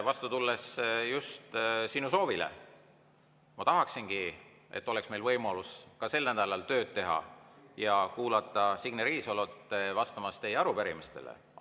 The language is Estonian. Vastu tulles just sinu soovile ma tahaksingi, et meil oleks võimalus ka sel nädalal tööd teha ja kuulata Signe Riisalo vastamist teie arupärimistele.